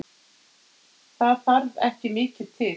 Það þarf ekki mikið til?